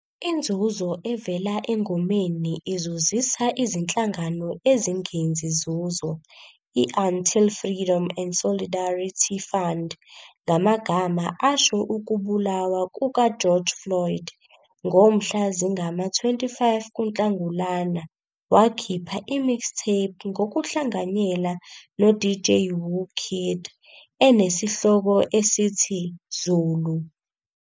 Inzuzo evela engomeni izuzisa izinhlangano ezingenzi nzuzo i-Until Freedom and Solidarity Fund, ngamagama asho ukubulawa kuka-George Floyd. Ngomhla zingama-25 kuNhlangulana, wakhipha i-mixtape ngokuhlanganyela no- DJ Whoo Kid, enesihloko esithi "Zulu".